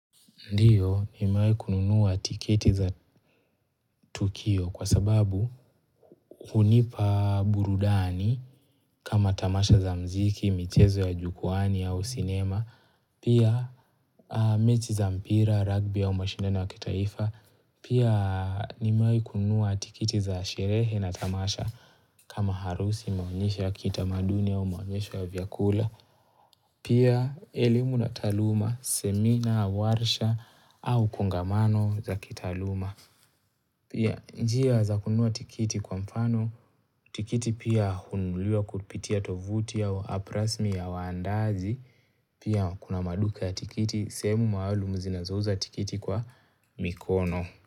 Ndiyo, nimewai kununuwa tiketi za Tukio kwa sababu unipa burudani kama tamasha za mziki, michezo ya jukuwani au sinema, pia mechi za mpira, rugby au mashindano ya kitaifa, pia nimewai kununuwa tikiti za sherehe na tamasha kama harusi maonyesho, ya kiitamaduni au maonyesho ya vyakula, pia elimu na taluma, semina, warsha au kongamano za kitaluma. Pia njia za kununuwa tikiti kwa mfano, tikiti pia hununuliwa kupitia tovuti au app rasmi ya waandaji, pia kuna maduka ya tikiti, sehemu maalum zinazouza tikiti kwa mikono.